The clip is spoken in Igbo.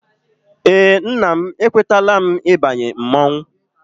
Eé, nna m ekwetala m ịbanye mmọnwụ.